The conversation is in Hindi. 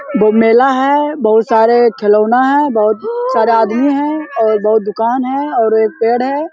दो मेला है बहुत सारे खिलौने हैं बहुत सारे आदमी हैं और बहुत दुकान है और एक पेड़ है।